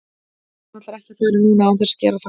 Nei hún ætlar ekki að fara núna án þess að gera það.